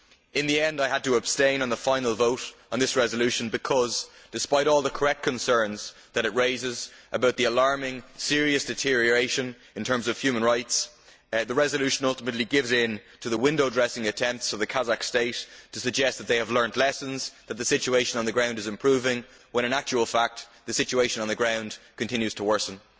In the end I had to abstain on the final vote on this resolution because, despite all the correct concerns that it raises about the alarming, serious deterioration in terms of human rights, the resolution ultimately gives in to the window dressing attempts of the Kazakh state to suggest that they have learned lessons and that the situation on the ground is improving, when in fact the situation on the ground continues to worsen.